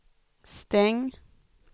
stäng